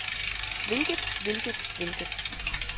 hvilket hvilket hvilket